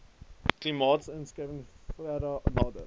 klimaatsverskuiwinhg vera nder